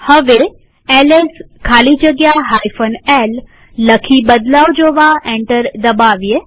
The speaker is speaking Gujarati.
હવે એલએસ ખાલી જગ્યા l લખી બદલાવ જોવા એન્ટર દબાવીએ